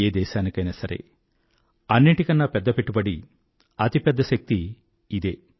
ఏ దేశానికైనా సరే అన్నింటికన్నా పెద్ద పెట్టుబడి అతి పెద్ద శక్తి ఇదే